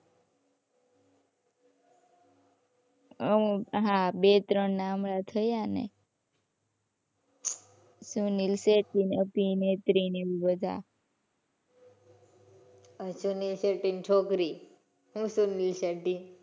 હમ્મ હાં બે ત્રણ નાં હમણાં થયા ને. સુનિલ શેટ્ટી ની અભિનેત્રી ને એ બધા. સુનિલ શેટ્ટી ની છોકરી. શું સુનિલ શેટ્ટી.